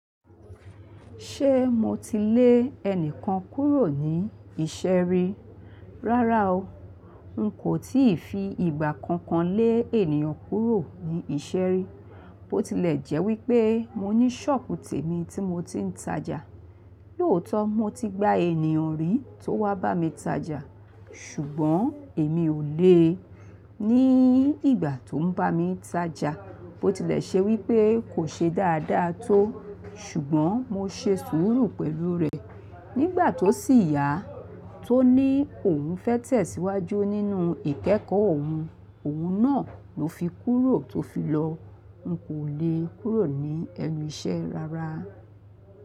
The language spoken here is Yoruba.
Ṣé mo ti lé ẹnìkan kúrò ní ìṣe rí? Rárá o. N kò tíì fi ìgbà kankan lé ènìyàn kúrò ní ìṣe rí Bó tilẹ̀ jẹ́ wípé mo ní sọ́ọ̀bù tẹ̀ mi tí mo ti ń tajà. Lóò tó mo ti gba ènìyàn rí tó wá bá mi tajà. Ṣùgbọ́n èmi ò lé e. Ní ìgbà tó ń bá mi tajà, bó tilẹ̀ ṣe wípé kò ṣe dáadáa tó. Ṣùgbọ́n mo ṣe sùúrù pẹ̀lú rè. Nígbà tó sì yá, tó ní òun fẹ́ tẹ̀síwájú nínú ìkẹ́kọ̀ọ́ òun. Òun náà ló fi kúrò tó fi lọ. N kò le kúrò ní ẹnu ìṣe rárá.